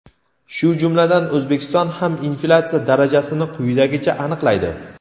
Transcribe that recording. shu jumladan O‘zbekiston ham inflyatsiya darajasini quyidagicha aniqlaydi.